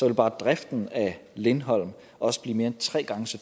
vil bare driften af lindholm også blive mere end tre gange så